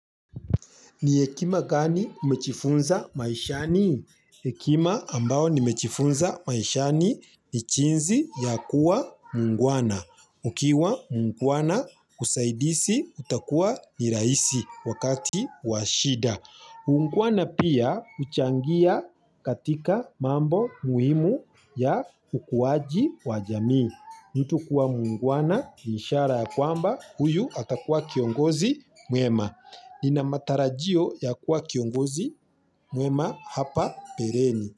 Ni hekima gani umejifunza maishani? Hekima ambayo nimejifunza maishani ni jinsi ya kuwa muungwana. Ukiwa muungwana usaidizi utakua ni rahisi wakati wa shida. Uungwana pia huchangia katika mambo muhimu ya ukuaji wa jamii. Mtu kuwa muungwana ni ishara ya kwamba huyu atakua kiongozi mwema. Nina matarajio ya kuwa kiongozi mwema hapa mbeleni.